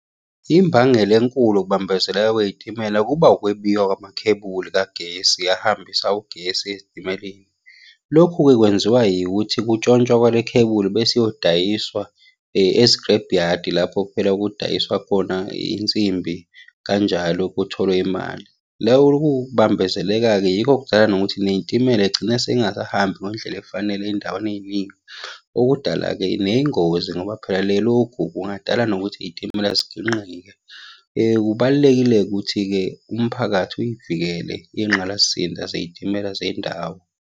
Imbangela enkulu yokubambezeleka kwey'timela kuba ukwebiwa kwamakhebuli kagesi ahambisa ugesi ezitimeleni. Lokhu-ke kwenziwa yikuthi kutshontshwa kwale khebuli bese iyodayiswa ezikirebhu yadi, lapho phela kudayiswa khona insimbi kanjalo kutholwe imali. Ukubambezeleka-ke yikho okudala nokuthi ney'timela iy'gcine sey'ngasahambi ngendlela efanele ey'ndaweni ey'ningi. Okudala-ke ney'ngozi ngoba phela lokhu kungadala nokuthi iy'timela ziginqike. Kubalulekile-ke ukuthi-ke umphakathi uyivikele iy'ngqalasizinda zey'timela zendawo.